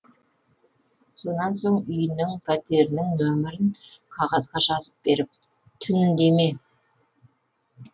сонан соң үйінің пәтерінің нөмірін қағазға жазып беріп түн деме